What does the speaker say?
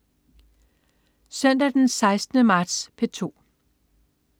Søndag den 16. marts - P2: